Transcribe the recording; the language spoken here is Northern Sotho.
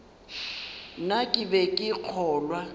na ke be ke kgolwa